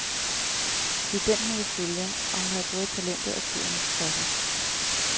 Det er den, hun vil følge, og hun har både talentet og tiden for sig.